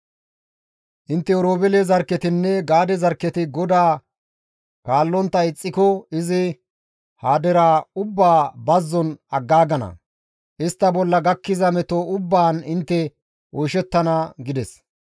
Intte Oroobeele zarkketinne Gaade zarkketi GODAA kaallontta ixxiko izi ha deraa ubbaa bazzon aggaagana; istta bolla gakkiza meto ubbaan intte oyshettana» gides.